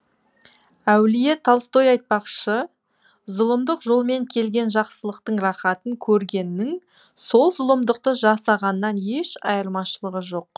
әулие толстой айтпақщы зұлымдық жолмен келген жақсылықтың рахатын көргеннің сол зұлымдықты жасағаннан еш айырмашылығы жоқ